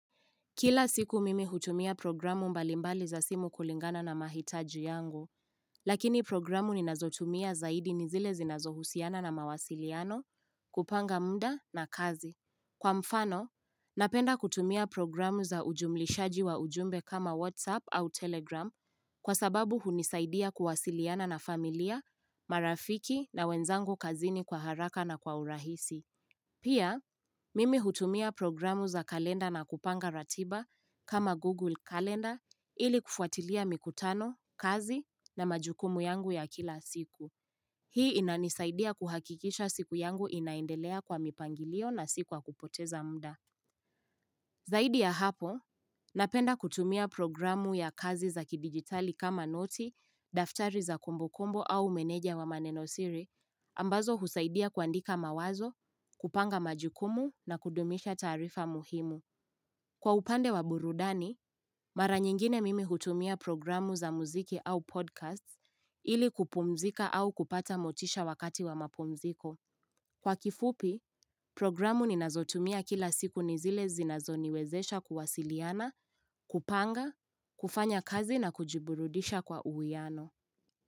Kila siku mimi hutumia programu mbalimbali za simu kulingana na mahitaji yangu, lakini programu ninazotumia zaidi nizile zinazohusiana na mawasiliano, kupanga mda na kazi. Kwa mfano, napenda kutumia programu za ujumlishaji wa ujumbe kama WhatsApp au Telegram kwa sababu hunisaidia kuwasiliana na familia, marafiki na wenzangu kazini kwa haraka na kwa urahisi. Pia, mimi hutumia programu za kalenda na kupanga ratiba kama Google Calendar ili kufuatilia mikutano, kazi na majukumu yangu ya kila siku. Hii inanisaidia kuhakikisha siku yangu inaendelea kwa mipangilio na siku wa kupoteza muda. Zaidi ya hapo, napenda kutumia programu ya kazi za kidigitali kama noti, daftari za kumbukumbu au meneja wa manenosiri, ambazo husaidia kuandika mawazo, kupanga majukumu na kudumisha taarifa muhimu. Kwa upande wa burudani, mara nyingine mimi hutumia programu za muziki au podcasts ili kupumzika au kupata motisha wakati wa mapumziko. Kwa kifupi, programu ninazotumia kila siku nizile zinazo niwezesha kuwasiliana, kupanga, kufanya kazi na kujiburudisha kwa uwieano.